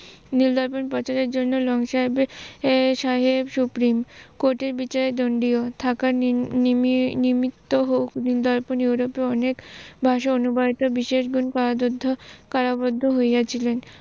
নীল দর্পন প্রচারের জন্য লং সাহেব সুপ্রিম কোটের বিচারের দন্ডিয় থাকার নিমিত্ত হোক নীল দর্পন ইউরোপিয় অনেক ভাষায় অনুপ্রানিত বিশেষ গুন কারাবদ্ধ হইয়াছিলেন।